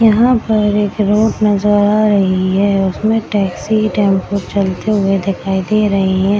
यहाँ पर एक रोड नजर आ रही है उसमे टैक्सी टेंपू चलते हुए दिखाई दे रही है।